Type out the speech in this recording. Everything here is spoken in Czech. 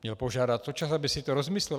Měl požádat o čas, aby si to rozmyslel.